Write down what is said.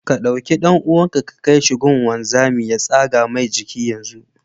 Ka ɗau ɗan'uwanka ka kaishi gun gunzami ya tsaga Mai jiki yanzu.